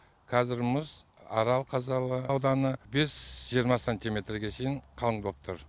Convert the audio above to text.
қазір мұз арал қазалы ауданы бес жиырма сантиметрге шейін қалың болып тұр